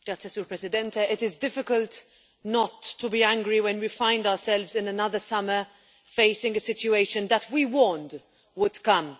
Mr President, it is difficult not to be angry when we find ourselves in another summer, facing a situation that we warned would come.